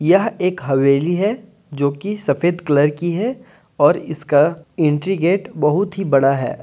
यह एक हवेली है जो कि सफेद कलर की है और इसका एंट्री गेट बहुत ही बड़ा है।